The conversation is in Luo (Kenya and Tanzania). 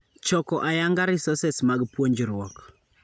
Choko ayanga resources mag puonjruok .